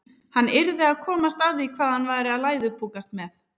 Hann yrði að komast að því hvað hann var að læðupokast með.